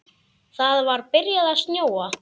Það var byrjað að snjóa.